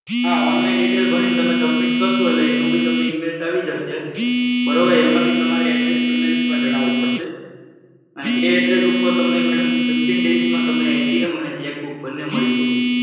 હા, online detail ભરીને તમે submit કરશો એટલે એનું બી તમને emails આવી જશે. બરોબર? એમાં બી તમારે address email માં જણાવવું પડશે. અને એ address માં fifteen days માં તમને madam અને cheque book બંને તમને મળી જશે.